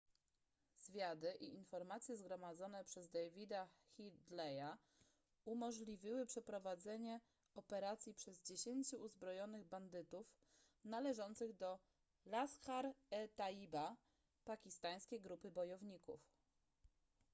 zwiady i informacje zgromadzone przez davida headleya umożliwiły przeprowadzenie operacji przez 10 uzbrojonych bandytów należących do laskhar-e-taiba pakistańskiej grupy bojowników